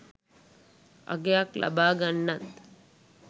අගයක් ලබා ගන්නත්